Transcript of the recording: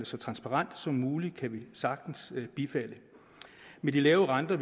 så transparent som muligt kan vi sagtens kan bifalde med de lave renter